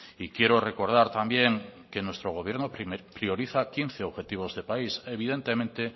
quiero recordar también que nuestro gobierno prioriza quince objetivos de país evidentemente